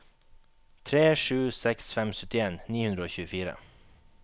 tre sju seks fem syttien ni hundre og tjuefire